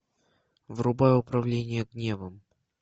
врубай управление гневом